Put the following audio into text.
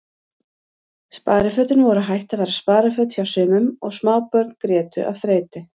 Sparifötin voru hætt að vera spariföt hjá sumum og smábörn grétu af þreytu.